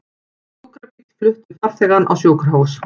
Sjúkrabíll flutti farþegann á sjúkrahús